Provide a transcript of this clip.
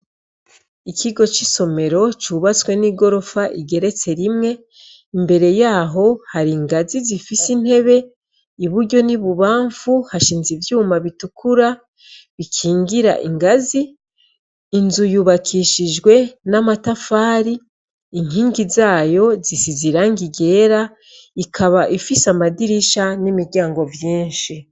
Ikigo c' isomero c' ubatswe n' igorof' igeretse rimwe, imbere yaho har' ingazi zifis' intebe, iburyo n' ibubamfu hashinz' ivyuma bitukura bikingir' ingazi , inzu yubakishijwe n' amatafari, inkingi zayo zisiz' irangi ryera, ikab' ifis' amadirisha n' imiryango vyinshi.